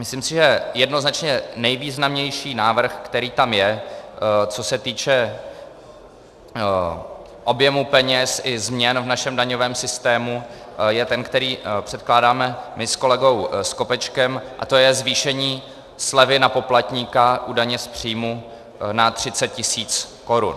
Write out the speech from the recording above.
Myslím si, že jednoznačně nejvýznamnější návrh, který tam je, co se týče objemu peněz i změn v našem daňovém systému, je ten, který předkládáme my s kolegou Skopečkem, a to je zvýšení slevy na poplatníka u daně z příjmu na 30 tisíc korun.